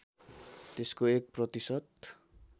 त्यसको एक प्रतिशत